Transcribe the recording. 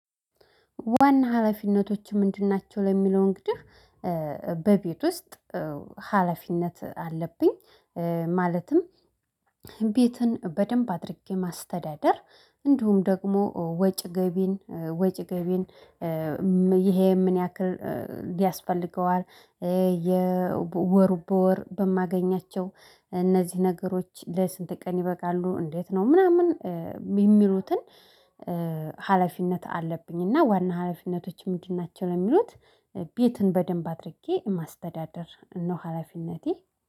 ዋና ሀላፊነቶች ምንድን ናቸው ለሚለው እንግዲህ በቤት ውስጥ ሀላፊነት አለብኝ። ማለትም ቤትን በደንብ አድርጌ ማስተዳደር። እንዲሁም ደግሞ ወጭ ገቢን ወጭ ገቢን። ይሄ ምን ያክል ያስፈልገዋል? የወሩ በወር በማገኛቸው እነዚህ ነገሮች ለስንት ቀን ይበቃሉ? እንዴት ነው ምናምን? የሚሉትን። ሀላፊነት አለብኝ። እና ዋና ሀላፊነቶች ምንድን ናቸው? ለሚሉት ቤትን በደንብ አድርጌ ማስተዳደር ነው። ሀላፊነቴ